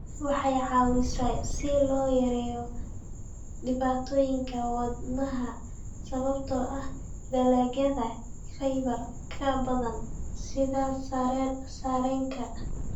Waxay caawisaa si loo yareeyo dhibaatooyinka wadnaha sababtoo ah dalagyada fiber-ka badan sida sarreenka.